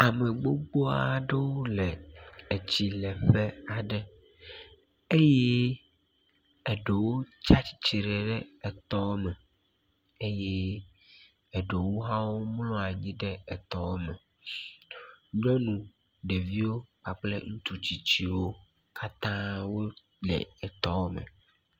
Ame gbogbo aɖewo le etsileƒe aɖe eye eɖewo tsatsitre ɖe etɔ me eye eɖewo hã womlɔ anyi ɖe etɔ me. Nyɔnu, ɖeviwo kpakple ŋutsu tsitsiwo katãa wole etɔ me.